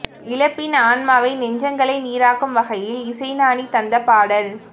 இழப்பின் ஆன்மாவை நெஞ்சங்களை நீறாக்கும் வகையில் இசைஞானி தந்த பாடல்